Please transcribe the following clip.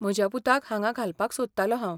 म्हज्या पुताक हांगा घालपाक सोदतालों हांव.